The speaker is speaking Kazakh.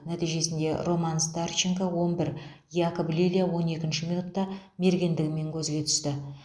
нәтижесінде роман старченко он бір якоб лилья он екінші минутта мергендігімен көзге түсті